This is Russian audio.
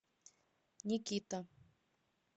никита